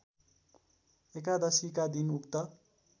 एकादशीका दिन उक्त